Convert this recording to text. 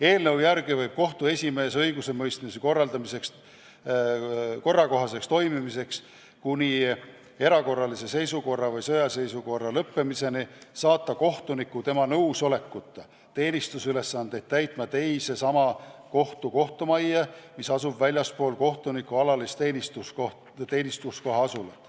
Eelnõu järgi võib kohtu esimees õigusemõistmise korrakohaseks toimimiseks kuni erakorralise seisukorra või sõjaseisukorra lõppemiseni saata kohtuniku tema nõusolekuta teenistusülesandeid täitma teise sama kohtu kohtumajja, mis asub väljaspool kohtuniku alalise teenistuskoha asulat.